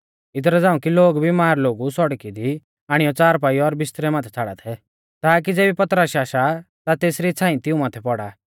इदरा झ़ांऊ कि लोग बिमार लोगु सौड़की दी आणियौ च़ारपाई और बिस्तरै माथै छ़ाड़ा थै ताकी ज़ेबी पतरस आशा ता तेसरी छ़ांई तिऊं माथै पौड़ा